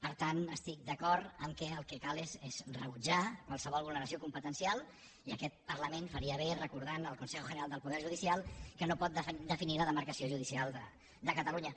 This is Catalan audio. per tant estic d’acord que el que cal és rebutjar qualsevol vulneració competencial i aquest parlament faria bé de recordar al consejo general del poder judicial que no pot definir la demarcació judicial de catalunya